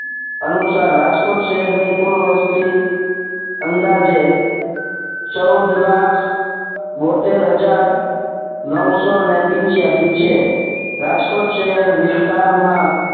અનુસાર રાજકોટ શહેરની કુલ વસ્તી અંદાજે ચૌદ લાખ બોતેર હજાર નવસો ને પીન્ચીયાશી છે